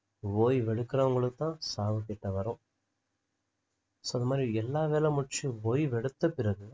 ஓய்வெடுக்குறவங்களுக்கு தான் சாவு கிட்ட வரும் so இந்தமாதிரி எல்லா வேலை முடிச்சு ஓய்வெத்தபிறகு